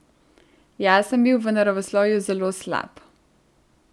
Jaz sem bil v naravoslovju zelo slab.